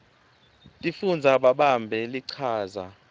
tifundza babambe lichaza